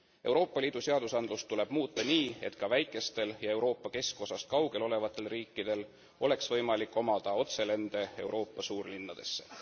Euroopa Liidu seadusandlust tuleb muuta nii, et ka väikestel ja Euroopa keskosast kaugel olevatel riikidel oleks võimalik omada otselende Euroopa suurlinnadesse.